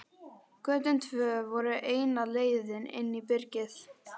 Götin tvö voru eina leiðin inn í byrgið.